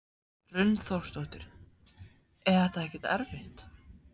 Hrund Þórsdóttir: Er þetta ekkert erfitt?